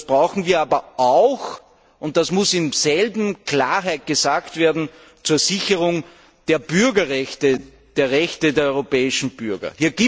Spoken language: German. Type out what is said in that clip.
Das brauchen wir aber auch und das muss in derselben Klarheit gesagt werden zur Sicherung der Rechte der europäischen Bürger.